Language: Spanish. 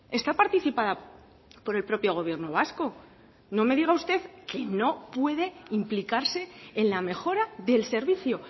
está participada por el propio gobierno vasco no me diga usted que no puede implicarse en la mejora del servicio